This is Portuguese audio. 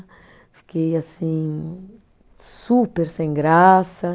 Fiquei, assim, super sem graça.